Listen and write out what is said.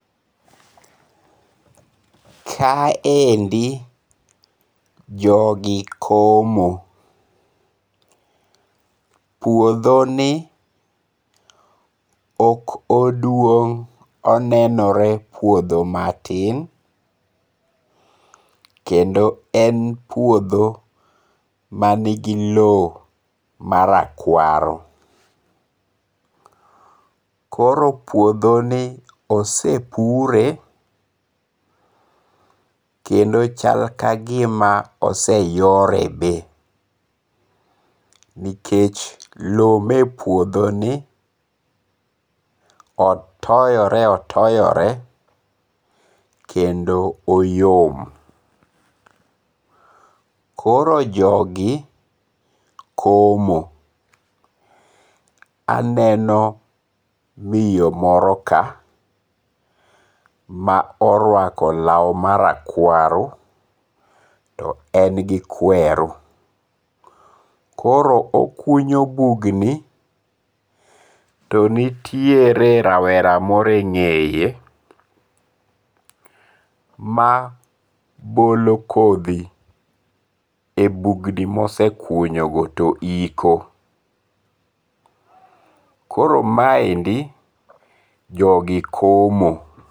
Ka endi jogi komo. Puodho ni ok oduong' onenore puodho matin. Kendo en puodho manigi low ma rakwaru. Koro puodho ni osepure kendo chal kagima oseyore be. Nikech low me puodho ni otoyore otoyore kendo oyom. Koro jogi komo. Aneno miyo moro ka ma orwako law marakwaru to en gi kweru. Koro okunyo bugni to nitiere rawera moro eng'eye ma bolo kodhi e bugni mosekunyo go to iko. Koro ma endi jogi komo.